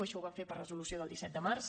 això ho vam fer per resolució del disset de març